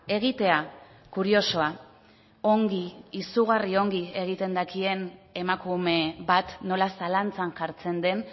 egitea kuriosoa ongi izugarri ongi egiten dakien emakume bat nola zalantzan jartzen den